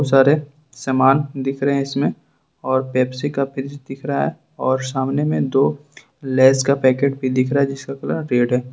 सारे समान दिख रहे हैं इसमें और पेप्सी का फ्रीज दिख रहा है और सामने में दो लेज का पैकेट भी दिख रहे हैं जिसका कलर रेड है।